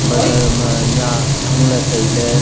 bazar ma nyiah hangley tailey.